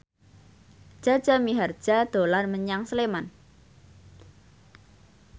Jaja Mihardja dolan menyang Sleman